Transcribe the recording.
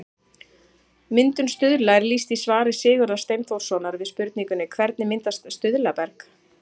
Myndun stuðla er lýst í svari Sigurðar Steinþórssonar við spurningunni Hvernig myndast stuðlaberg?